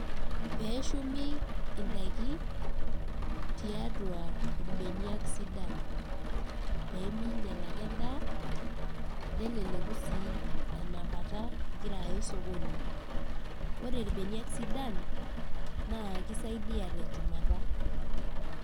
Peshumi idaiki, tiatua irbenak sidan. Peminyal ake endaa, neleleku si enapata igira aya osokoni. Ore irbeniak sidan, na kisaidia tenchumata.